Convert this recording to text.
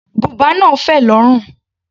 Bùbá náà fẹ̀ lórùn.